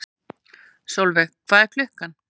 Solveig, hvað er klukkan?